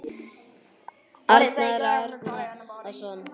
Arnar Árnason